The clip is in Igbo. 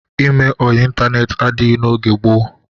Ime ọyị ịntaneetị adịghị n'oge gboo.